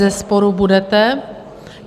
Bezesporu budete.